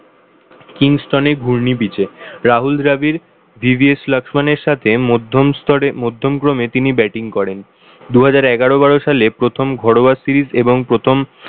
Kingston এর ঘূর্ণি pitch এ Rahul Dravid, V V S লক্ষ্মণের সাথে মধ্যম স্তরে মধ্যম ক্রমে তিনি batting করেন। দুহাজার এগারো-বারো সালে প্রথম ঘরোয়া series এবং প্রথম